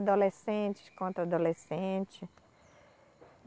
Adolescentes contra adolescentes.